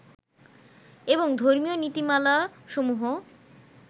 এবং ধর্মীয় নীতিমালা সমূহ